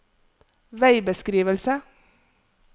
veibeskrivelse